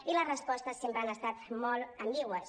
i les respostes sempre han estat molt ambigües